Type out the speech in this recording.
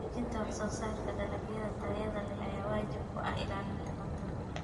Xoojinta wax-soo-saarka dalagyada tayada leh ayaa waajib ku ah ilaalinta cuntada.